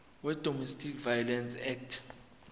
wedomestic violence act